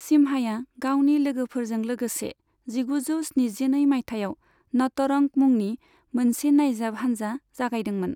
सिम्हाया गावनि लोगोफोरजों लोगोसे जिगुजौ स्निजिनै मायथाइयाव नटरंग मुंनि मोनसे नायजाब हानजा जागायदोंमोन।